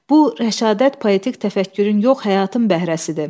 Bu rəşadət poetik təfəkkürün yox, həyatın bəhrəsidir."